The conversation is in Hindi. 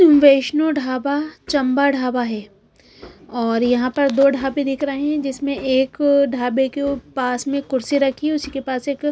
वैष्णव ढाबा चंबा ढाबा है और यहां पर दो ढाबे दिख रहे हैं जिसमें एक ढाबे के पास में कुर्सी रखी उसी के पास एक--